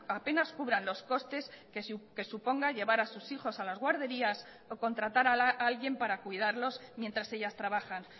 apenas cubran los costes que suponga llevar a sus hijos a las guarderías o contratar a alguien para cuidarlos mientras ellas trabajan